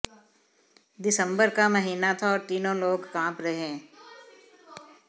दिसंबर का महीना था और तीनों लोग कांप रहे